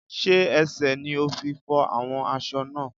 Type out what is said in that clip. Sé ẹsẹ̀ ni o fi fọ́ awọ́n aṣọ náà?